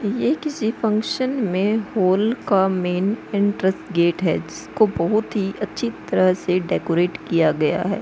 ये किसी फंक्शन में हॉल का मेन एंट्रेसगेट है जिसको बोहोत ही अच्छी तरह से डेकोरेट किया गया है।